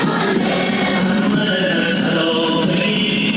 Heydər! Ey Əli salam!